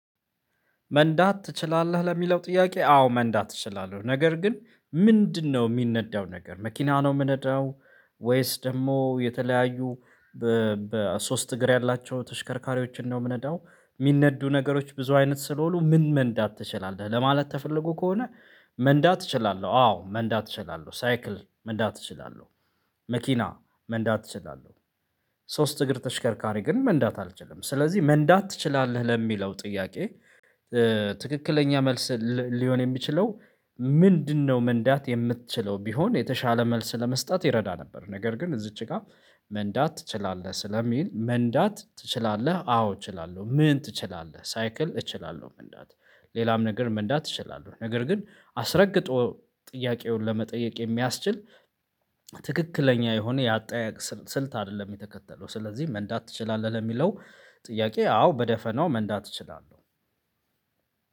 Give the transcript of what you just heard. መንዳት ትችላለህ ለሚለው ጥያቄ አዎ መንዳት እችላለሁ ነገር ግን ምንድነው እሚነዳው ነገር መኪና ነው እምነዳው? ወይስ ደግሞ የተለያዩ በሶስት እግር ያላቸው ተሽከርካሪዎችን ነው እምነዳው? እሚነዱ ነገሮች ብዙ አይነት ስለሆኑ ምን መንዳት ትችላለህ ለማለት ተፈለጎ ከሆነ? መንዳት እችላለሁ አዎ መንዳት እችላለሁ ሳይክል መንዳት እችላለሁ። መኪና መንዳት እችላለሁ። ሶስት እግር ተሽከርካሪ ግን መንዳት አልችልም ስለዚህ መንዳት ትችላለህ ለሚለው ጥያቄ። ትክክለኛ መልስ ሊሆን የሚችለው? ምንድነው መንዳት የምትችለው ቢሆን የተሻለ መልስ ለመስጠት ይረዳ ነበር። ነገር ግን እዚች ጋር። መንዳት ትችላለህ ስለሚል መንዳት ትችላለህ አዎ እችላለሁ ምን ትችላለህ ሳይክል እችላለሁ መንዳት። ሌላም ነገር መንዳት እችላለሁ ነገር ግን አስረግጦ ጥያቄውን ለመጠየቅ የሚያስችል ትክክለኛ የሆነ የአጠያያቅ ስልት አይደለም። የተከተለው ስለዚህ መንዳት ትችላለህ ለሚለው ጥያቄ አዎ በደፈናው መንዳት እችላለሁ።